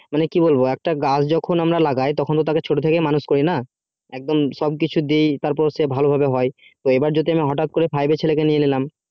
এবার কি বলবো যে একটা গাছ যখন আমরা লাগাই তখন ওটাকে ছোট থেকে মানুষ করি না এক দম সবকিছু দেয় তারপর সে ভালো ভাবে হয় যদি হটাৎ করে five এর ছেলে কে নিয়ে নিলাম